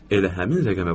Elə həmin rəqəmə qoydum.